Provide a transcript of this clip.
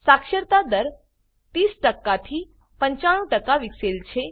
સાક્ષરતા દર 30 થી 95 વિકસેલ છે